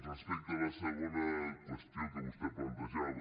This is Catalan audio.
respecte a la segona qüestió que vostè plantejava